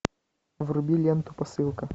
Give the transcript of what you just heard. вруби ленту посылка